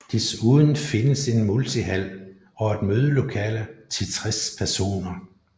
Desuden findes en multihal og et mødelokale til 60 personer